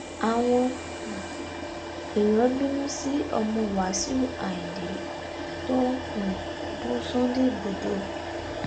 àwọn um èèyàn bínú sí ọmọ wáṣíù ayíǹde tó ń um bú sunday igbodò